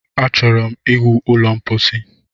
Achọrọ ịwu ụlọ ḿkpóchí